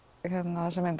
þessa mynd